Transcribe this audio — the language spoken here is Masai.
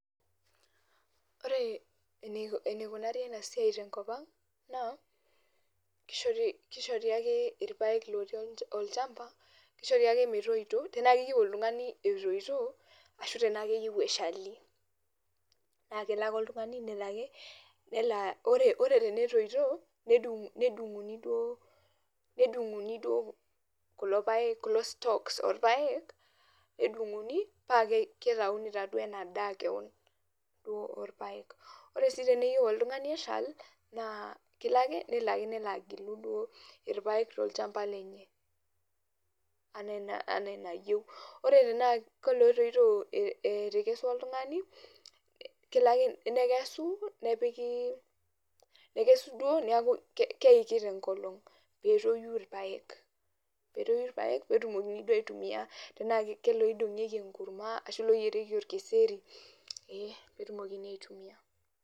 Ore enikunari enasiai tenkop ang', naa, kishori ake irpaek lotii olchamba, kishori ake metoito, tenaa keyieu oltung'ani etoito, ashu tenaa keyieu eshali. Na kelo ake oltung'ani, nelo ake, ore tenetoito, nedung'uni duo, nedung'uni duo kulo paek, kulo stalks orpaek, nedung'uni, pakitauni taduo enadaa keon duo orpaek. Ore si teneyieu oltung'ani eshal, naa kelo ake, nelo ake nelo agilu duo irpaek tolchamba lenye, enaa enayieu. Ore tenaa kolotoito etekesua oltung'ani, kelo ake nekesu, nepiki nekesu duo neku keiki tenkolong, petoyu irpaek. Petoyu irpaek, petumokini duo aitumia tenaa keloidong'ieki enkurma, ashu loyierieki orkeseri, ee petumokini aitumia.